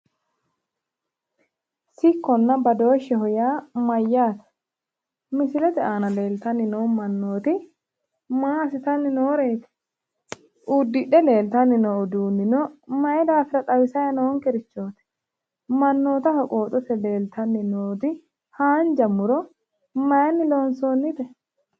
Sicconna badoosheho yaa mayyaate? Misilete aana leeltanni noo mannoti maa asitanni nooreti? Uddidhe leeltanni noo uduunino maayi daafira xawisayi noorichooti? Mannootaho qooxote noo hanja muro mayiini loonsonite